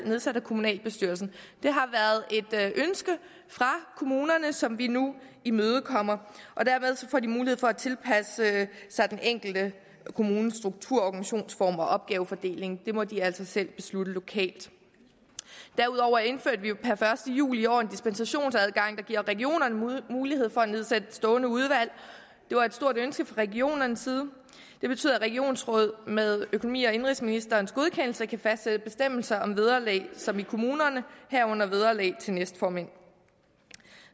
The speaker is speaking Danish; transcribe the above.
nedsat af kommunalbestyrelser det har været et ønske fra kommunerne som vi nu imødekommer dermed får de mulighed for at tilpasse sig den enkelte kommunes struktur organisationsform og opgavefordeling det må de altså selv beslutte lokalt derudover indførte vi jo per første juli i år en dispensationsadgang der giver regionerne mulighed for at nedsætte stående udvalg det var et stort ønske fra regionernes side og det betyder at regionsråd med økonomi og indenrigsministerens godkendelse kan fastsætte bestemmelser om vederlag som i kommunerne herunder vederlag til næstformænd